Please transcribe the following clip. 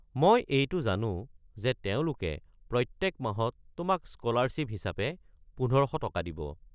মই এইটো জানো যে তেওঁলোকে প্ৰত্যেক মাহত তোমাক স্ক’লাৰশ্বিপ হিচাপে ১৫০০ টকা দিব।